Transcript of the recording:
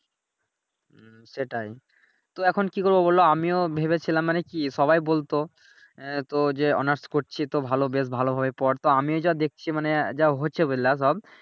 হুম সেটাই তো এখন কি করবো বলো আমিও ভেবেছিলাম মানে কি সবাই বলতো আহ তো যে অনার্স করছি তো ভালো বেশ ভালো ভাবে পড় তো আমি যা দেখছি মানে যা হচ্ছে বললা সব